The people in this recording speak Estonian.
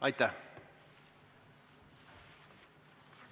Aitäh!